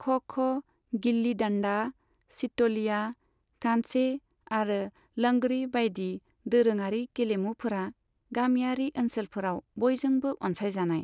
ख' ख', गिल्ली डाण्डा, सित'लिया, कांचे आरो लंगड़ी बायदि दोरोङारि गेलेमुफोरा गामियारि ओनसोलफोराव बयजोंबो अनसायजानाय।